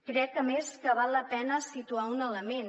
crec a més que val la pena situar un element